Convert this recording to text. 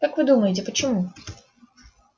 как вы думаете почему